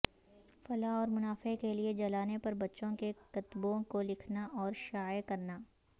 فلا اور منافع کے لئے جلانے پر بچوں کے کتبوں کو لکھنا اور شائع کرنا